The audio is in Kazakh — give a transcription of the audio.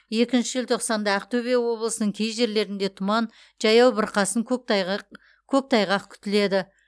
екінші желтоқсанда ақтөбе облысының кей жерлерінде тұман жаяу бұрқасын көктайғақ көктайғақ күтіледі